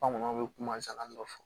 Bamananw bɛ kumakan dɔ fɔ